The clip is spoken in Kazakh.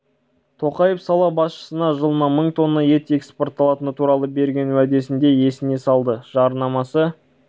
тоқаев сала басшысына жылына мың тонна ет экспортталатыны туралы берген уәдесін де есіне салды жарнамасы